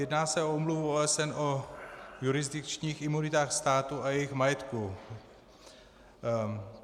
Jedná se o Úmluvu OSN o jurisdikčních imunitách států a jejich majetku.